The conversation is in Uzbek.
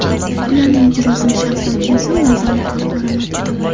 Ularning ijrosini shaxsan o‘zim nazorat qilib boraman.